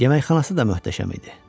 Yeməkxanası da möhtəşəm idi.